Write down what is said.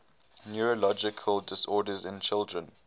neurological disorders in children